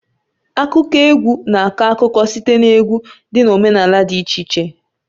Akụkọ egwu na-akọ akụkọ site na egwu dị na omenala dị iche iche.